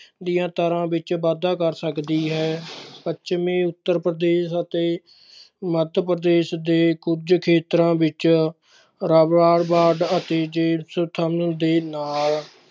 ਦੀਆਂ ਦਰਾਂ ਵਿੱਚ ਵਾਧਾ ਕਰ ਸਕਦੀ ਹੈ ਪੱਛਮੀ ਉੱਤਰ ਪ੍ਰਦੇਸ਼ ਅਤੇ ਮੱਧ ਪ੍ਰਦੇਸ਼ ਦੇ ਕੁੱਝ ਖੇਤਰਾਂ ਵਿੱਚ ਅਤੇ ਦੇ ਨਾਲ